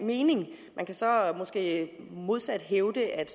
mening man kan så måske modsat hævde at